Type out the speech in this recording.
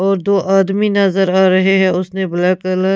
और दो आदमी नजर आ रहे हैं उसने ब्लैक कलर --